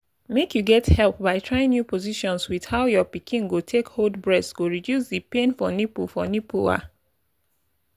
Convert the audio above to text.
make you get help by trying new positions with how your pikin go take hold breast go reduce the pain for nipple for nipple ah